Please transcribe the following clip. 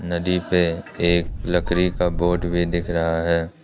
नदी पे एक लकड़ी का बोट भी दिख रहा है।